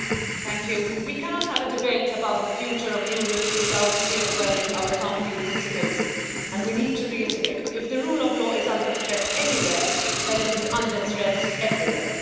Mr President, we cannot have a debate about the future of Europe without reaffirming our founding principles, and we need to reiterate that if the rule of law is under threat anywhere, then it is under threat everywhere.